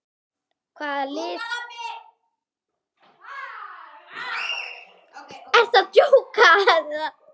Hvaða lið koma á óvart?